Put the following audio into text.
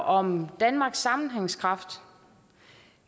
om danmarks sammenhængskraft